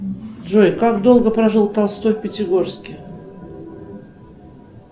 джой как долго прожил толстой в пятигорске